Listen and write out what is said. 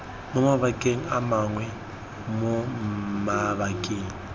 mo mabakeng mangwe mo mabakeng